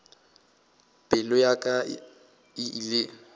pelo ya ka e ile